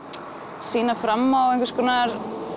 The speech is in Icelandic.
sýna fram á einhvers konar